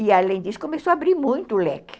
E, além disso, começou a abrir muito o leque.